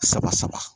Saba saba